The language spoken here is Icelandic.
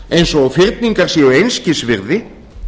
eins og fyrningar séu einskis virði